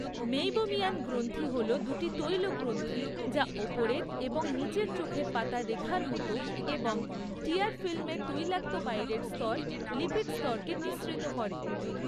Meibomian গ্রন্থি হল দুটি তৈল গ্রন্থি যা ওপরের এবং নীচের চোখের পাতার রেখার মতো এবং টিয়ার ফিল্মের তৈলাক্ত বাইরের স্তর, লিপিড স্তরকে নিঃসৃত করে।